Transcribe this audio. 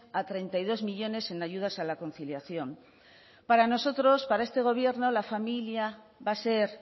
a treinta y dos millónes en ayudas a la conciliación para nosotros para este gobierno la familia va a ser